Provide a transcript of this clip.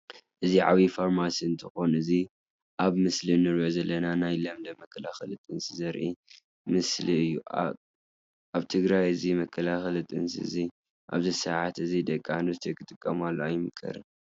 እዚ ዓብይ ፋርማሲ እንትኮን እዚ ኣብ ምስሊ እንሪኦ ዘለና ናይ ለምለም መከላከሊ ጥንሲ ዘርኢ ምስሊ እዩ። ኣብ ትግራይ እዚ መከላከሊ ጥንሲ እዚ ኣብዚ ሰዓት እዚ ደቂ ኣነስትዮ ክጥቀማሉ ኣይምከርን ።